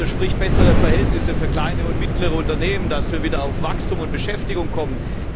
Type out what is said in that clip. Also sprich bessere Verhältnisse für kleine und mittlere Unternehmen, damit wir wieder zu Wachstum und Beschäftigung kommen.